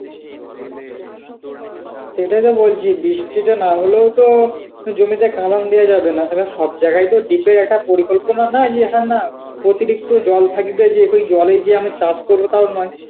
সেটাইতো বলছি বৃষ্টিটা না হলেও তো জমিতে কালন দেয়া যাবে না. এবার সব জায়গায় তো ditto একটা পরিকল্পনা নয় যে হ্যাঁ না অতিরিক্ত জল থাকিবে যে তুই জলেই যে অনেক চাষ করব তাও নয়